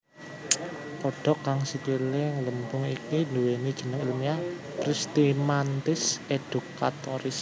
Kodhok kang sikilé ngglembung iki nduwèni jeneng ilmiah Pristimantis educatoris